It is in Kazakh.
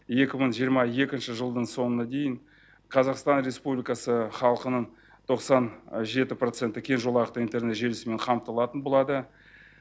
екі мың жиырма екінші жылдың соңына дейін қазақстан республикасы халқының тоқсан жеті проценті кең жолақты интернет желісімен қамтылатын болады